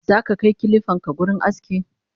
zaka Kai kilifanka wurin aski?